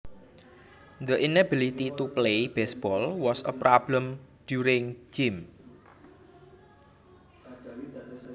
The inability to play baseball was a problem during gym